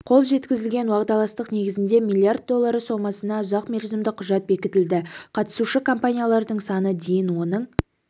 қол жеткізілген уағдаластық негізінде миллиард доллары сомасына ұзақмерзімді құжат бекітілді қатысушы компаниялардың саны дейін оның